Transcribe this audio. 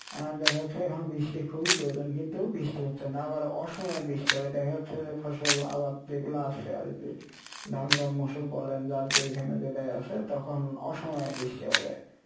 আহ দেখা যাচ্ছে এখানে বৃষ্টির খুবই প্রয়োজন কিন্তু বৃষ্টি হচ্ছে না আবার অসময়ে বৃষ্টি হবে দেখা যাচ্ছে যে ফসল আবাদ যেগুলা আসে আরকি ধান বা মুসুর বলেন যার যেইখানে যেটাই আসে তখন অসময়ে বৃষ্টি হয়ে যাই,